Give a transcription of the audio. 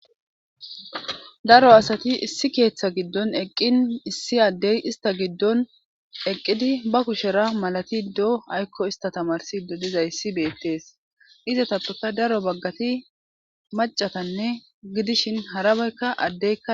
daro asati issi keeththa giddon eqqin issi addey ista giddon eqqidi ba kushera malati doo aykko ista tamarsido dizayssi beettees iza tatoka daro baggati macatanne gidishin harabeykka addey